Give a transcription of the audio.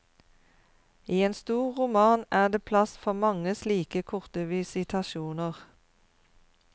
I en stor roman er det plass for mange slike korte visitasjoner.